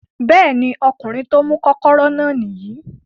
Bẹ́ẹ̀ ni, ọkùnrin tí ó mú kọ́kọ́rọ́ náà nìyí